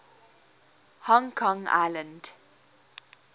hong kong island